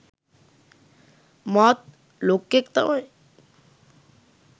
මාත් ලොක්කෙක් තමයි